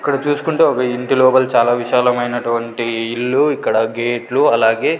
ఇక్కడ చూస్కుంటే ఒక ఇంటి లోపల చాలా విశాలమైనటువంటి ఇల్లు ఇక్కడ గేట్లు అలాగే--